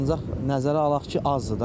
Ancaq nəzərə alaq ki, azdır da.